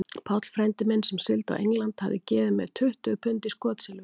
Páll frændi minn, sem sigldi á England, hafði gefið mér tuttugu pund í skotsilfur.